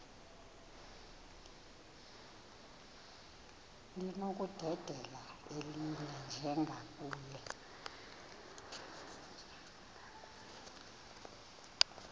linokudedela elinye njengakule